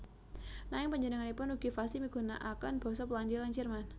Nanging panjenenganipun ugi fasih migunakaken basa Polandia lan Jerman